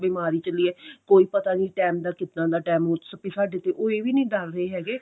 ਬਿਮਾਰੀ ਚੱਲੀ ਏ ਕੋਈ ਪਤਾ ਨਹੀਂ ਕਿੱਦਾਂ ਦਾ ਟੈਂਮ ਸਾਡੇ ਤੇ ਉਹ ਇਹ ਵੀ ਨੀ ਡਰ ਰਹੇ ਹੈਗੇ